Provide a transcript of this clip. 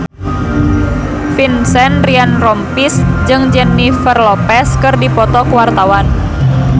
Vincent Ryan Rompies jeung Jennifer Lopez keur dipoto ku wartawan